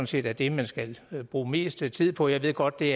set er det man skal bruge mest tid på jeg ved godt det